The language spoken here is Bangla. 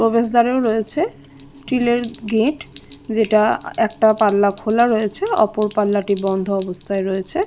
প্রবেশ দ্বারেও রয়েছে স্টিলের গেট যেটা একটা পাল্লা খোলা রয়েছে অপর পাল্লাটি বন্ধ অবস্থায় রয়েছে--